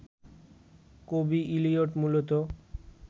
কবি ইলিয়ট মূলত